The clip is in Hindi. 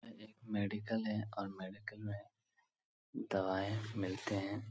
ये एक मेडिकल है और मेडिकल में दवाऐं मिलते हैं।